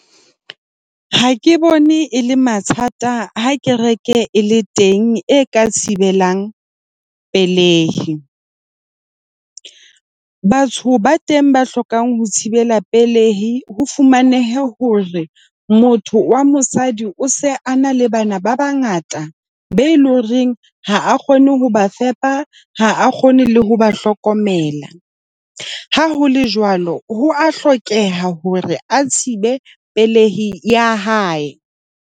Ha ke bone e le mathata ha kereke e le teng e ka thibelang pelei. Batho ba teng ba hlokang ho thibela pelei, ho fumanehe hore motho wa mosadi o se a na le bana ba bangata be loreng ha a kgone ho ba fepa, ha a kgone le ho ba hlokomela. Ha ho le jwalo, ho a hlokeha hore a thibe pelei ya hae.